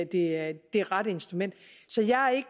det det rette instrument